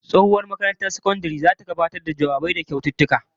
Tsohuwar makarantar sakandare na ta gabatar da bikin ranar jawabai da bayar da kyaututtuka